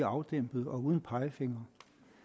afdæmpet og uden pegefingre